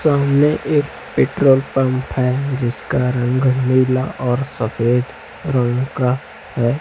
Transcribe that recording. सामने एक petrol pump है जिसका रंग नीला और सफेद रंग का है।